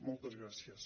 moltes gràcies